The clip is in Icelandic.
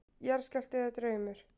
Jarðskjálfti eða draumur?